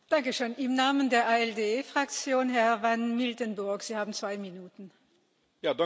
Voorzitter, het gebruik van gehuurde voertuigen voor het vervoer van goederen heeft grote voordelen voor Europa.